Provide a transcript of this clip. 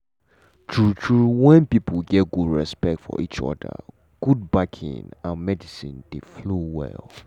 true true when people get good respect for each other god backing and medicine dey flow well.